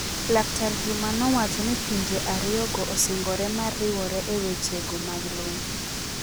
Laktar Juma nowacho ni pinje ario go osingore mar riwore e weche go mag lweny.